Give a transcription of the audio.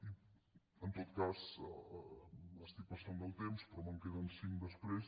i en tot cas m’estic passant del temps però me’n queden cinc després